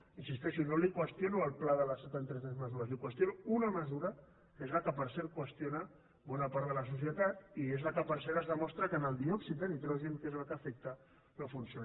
hi insisteixo no li qüestiono el pla de les setanta tres mesures li qüestiono una mesura que és la que per cert qüestiona bona part de la societat i és la que per cert es demostra que en el diòxid de nitrogen que és el que afecta no funciona